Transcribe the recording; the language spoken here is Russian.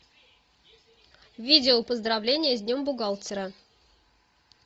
видео поздравление с днем бухгалтера